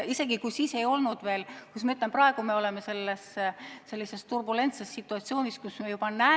Siis ei olnud veel selline, kuidas ma ütlen, turbulentne situatsioon, kus me praegu oleme.